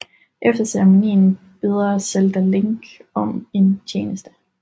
Efter ceremonien beder Zelda Link om en tjeneste